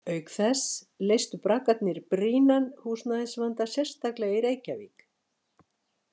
Auk þess leystu braggarnir brýnan húsnæðisvanda, sérstaklega í Reykjavík.